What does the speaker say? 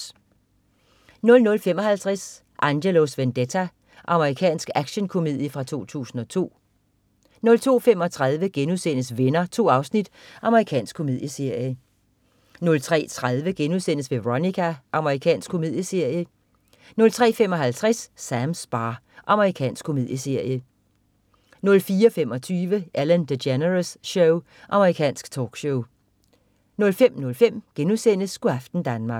00.55 Angelos Vendetta. Amerikansk actionkomedie fra 2002 02.35 Venner.* 2 afsnit. Amerikansk komedieserie 03.30 Veronica.* Amerikansk komedieserie 03.55 Sams bar. Amerikansk komedieserie 04.25 Ellen DeGeneres Show. Amerikansk talkshow 05.05 Go' aften Danmark*